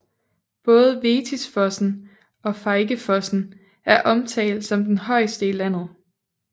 Både Vettisfossen og Feigefossen er omtalt som den højeste i landet